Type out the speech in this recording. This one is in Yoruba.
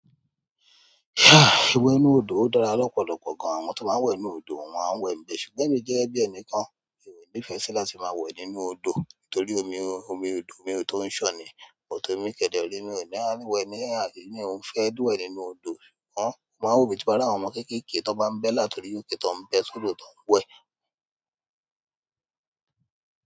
Haà ìwẹ̀ inú odò o dára lọ́pọ̀lọpọ̀ gan. Àwọn to máa ń wẹ̀ nú odò, wọ́n a wẹ̀ ń bẹ. Ṣùgbọ́n èmi jẹ́ bí ẹni kan, èmi ò nífẹ̀ẹ́ sí láti máa wẹ̀ nínú odò torí omi, omi odò omi tó ń ṣọ̀n ni, but emi kẹ̀dẹ̀re, emi òní anywhere ní aye mi ò ń fẹ́ we nínú odò. Ṣùgbọ́n, mo máa ń wò tí bá ri àwọn ọmọ kéékèèké tó bá ń bẹ́ láti orí òkè tó ń bẹ sọ́dọ̀ tó ń wẹ̀.